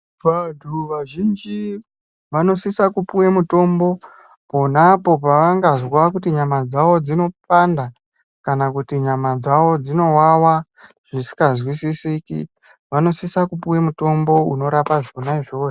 Vantu vazhinji vanosisa kupuwa mutombo ponapo pavangazwa kuti nyama dzavo dzinopanda kana kuti nyama dzavo dzinowawa zvisinga zwisisiki vanosisa kupuwa mutombo unorapa zvona izvozvo.